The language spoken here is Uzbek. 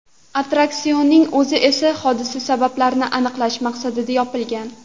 Attraksionning o‘zi esa hodisa sabablarini aniqlash maqsadida yopilgan.